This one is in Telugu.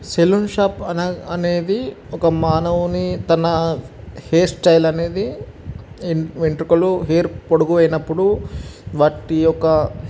సెలూన్ షాప్ అనే అనేది ఒక మానవుని తన హెయిర్ స్టైల్ అనేది వెంట్రుకలు హెయిర్ పొడువు యినపుడు వాటి యొక్క --